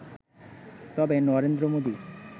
তবে নরেন্দ্র মোদি